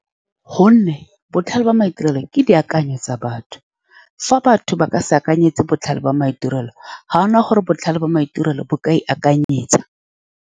Ka gonne, botlhale jwa maitirelo ke dikakanyo tsa batho. Fa batho ba ka se akanyetse botlhale jwa maitirelo, ga gona gore botlhale jwa maitirelo bo ka ikakanyetsa.